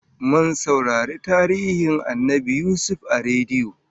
Mun saurari tarihin Annabi Yusuf a rediyo